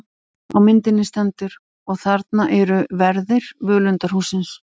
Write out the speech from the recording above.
Á myndinni stendur: Og þarna eru verðir völundarhússins.